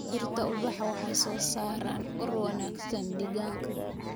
Dhirta ubaxa waxay soo saaraan ur wanaagsan deegaanka.